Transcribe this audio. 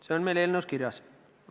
See on meil eelnõus kirjas.